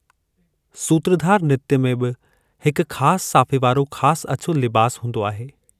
सूत्रधार नृत्य में बि हिकु खास साफे वारो खास अछो लिबास हूंदो आहे।